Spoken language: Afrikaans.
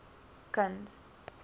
kuns